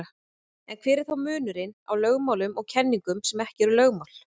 En hver er þá munurinn á lögmálum og kenningum sem ekki eru lögmál?